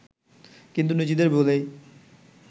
কিন্তু নিজেদের ভুলেই